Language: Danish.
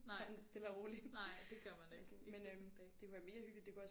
Nej nej det gør man ikke ikke på sådan en dag